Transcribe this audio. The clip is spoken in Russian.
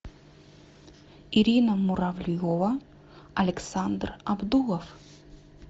ирина муравьева александр абдулов